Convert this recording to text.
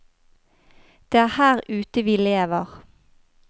Det er her ute vi lever.